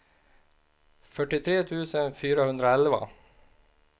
fyrtiotre tusen fyrahundraelva